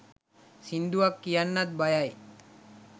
සින්දුවක් කියන්නත් බයයි